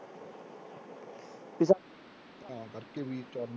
ਤਾਂ ਕਰਕੇ ਵੀ ਚੱਲ